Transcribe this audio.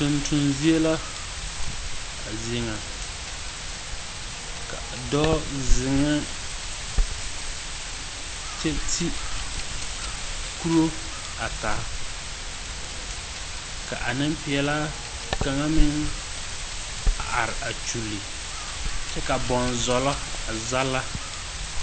Tonton zie la a zie na. Ka, doɔ zeŋe kyɛ te kuro a taa. Ka a nepiɛlaa kanga meŋ a are a kyuole kyɛ ka bonzɔlo a zala